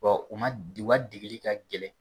Bon u ma u ka degeli ka gɛlɛn